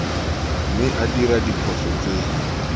mme a dira diphoso tse